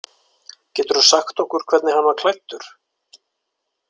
Geturðu sagt okkur hvernig hann var klæddur?